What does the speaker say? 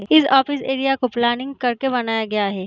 इस office area को planning करके बनाया गया है।